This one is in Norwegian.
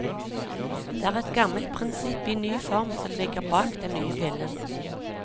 Det er et gammelt prinsipp i ny form som ligger bak den nye pillen.